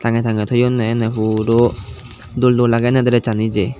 tange tange toyonne ene puro dol dol aage ene dress sani je.